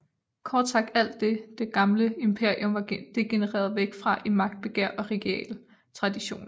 Kort sagt alt det det gamle imperium var degenereret væk fra i magtbegær og regale traditioner